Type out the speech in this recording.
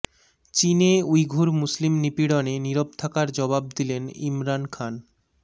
চীনে উইঘুর মুসলিম নিপীড়নে নীরব থাকার জবাব দিলেন ইমরান খান